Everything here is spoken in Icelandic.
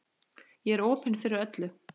Ég er opin fyrir öllu.